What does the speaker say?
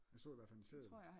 Jeg så i hvert fald en seddel